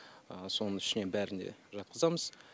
соның ішіне бәрін де жатқызамыз